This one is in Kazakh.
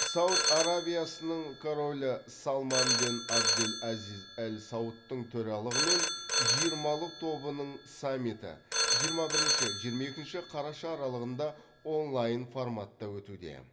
сауд арабиясының королі салман бен әбдел әзиз әл саудтың төралығымен жиырмалық тобының саммиті жиырма бірінші жиырма екінші қараша аралығында онлайн форматта өтуде